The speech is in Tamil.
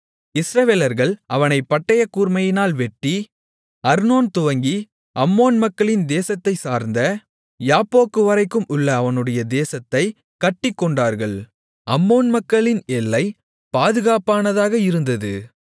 இஸ்ரவேலர்கள் அவனைப் பட்டயக்கூர்மையினால் வெட்டி அர்னோன் துவங்கி அம்மோன் மக்களின் தேசத்தைச்சார்ந்த யாப்போக்குவரைக்கும் உள்ள அவனுடைய தேசத்தைக் கட்டிக்கொண்டார்கள் அம்மோன் மக்களின் எல்லை பாதுகாப்பானதாக இருந்தது